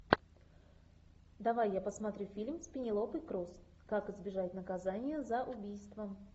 давай я посмотрю фильм с пенелопой крус как избежать наказания за убийство